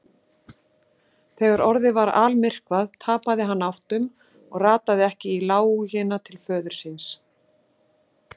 Þegar orðið var almyrkvað tapaði hann áttum og rataði ekki í lágina til föður síns.